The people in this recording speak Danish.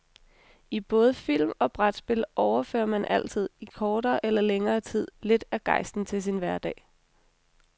I både film og brætspil overfører man altid, i kortere eller længere tid, lidt af gejsten til sin hverdag.